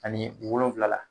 Ani wolonwula